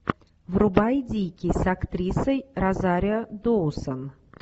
врубай дикий с актрисой розарио доусон